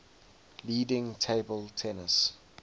leading table tennis